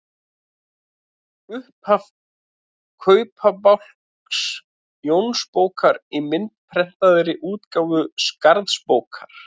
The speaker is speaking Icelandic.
Upphaf Kaupabálks Jónsbókar í myndprentaðri útgáfu Skarðsbókar.